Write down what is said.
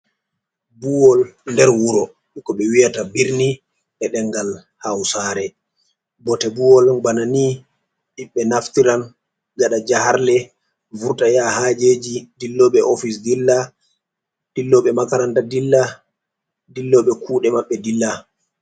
Buwol der Wuro, ko ɓe Wiyata Birni e Ɗengal Hausare, Bote Buwal Banani, Himɓe Naftiran Gaɗa Jahare, Vurta yaha Hajeji Dilloɓe Office Dilla, Dilloɓe Makaranta Dilla, Dilloɓe Kuuɗe-mabɓe Dilla.